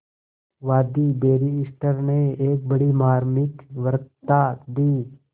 वादी बैरिस्टर ने एक बड़ी मार्मिक वक्तृता दी